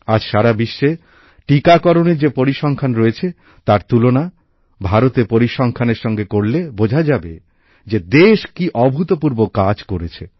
আজ সারা বিশ্বে টিকাকরণের যে পরিসংখ্যান রয়েছে তার তুলনা ভারতের পরিসংখ্যানের সঙ্গে করলে বোঝা যাবে যে দেশ কী অভূতপূর্ব কাজ করেছে